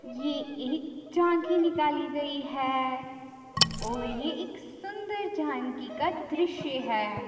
ये एक झांकी निकाली गई है और ये एक सुंदर झांकी का दृश्य है।